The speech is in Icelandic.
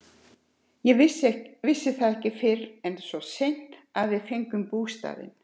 Ég vissi það ekki fyrr en svona seint að við fengjum bústaðinn.